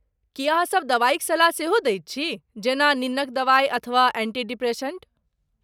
की अहाँसभ दवाइक सलाह सेहो दैत छी, जेना निन्नक दवाइ अथवा एंटीडिप्रेसेन्ट?